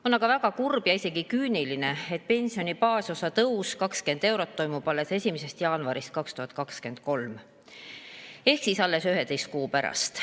On aga väga kurb ja isegi küüniline, et pensioni baasosa tõus, 20 eurot, toimub alles 1. jaanuarist 2023 ehk siis alles 11 kuu pärast.